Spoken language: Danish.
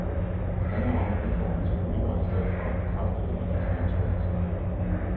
Det handler om at udfordre sine lyttere i stedet for at bekræfte dem i deres egen smag, siger han.